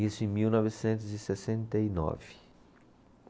Isso em mil novecentos e sessenta e nove